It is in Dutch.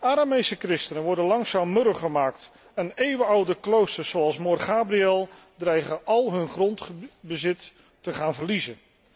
Aramese christenen worden langzaam murw gemaakt en eeuwenoude kloosters zoals Mor Gabriel dreigen al hun grondbezit te gaan verliezen.